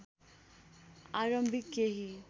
आरम्भिक केही